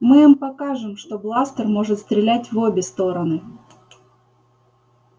мы им покажем что бластер может стрелять в обе стороны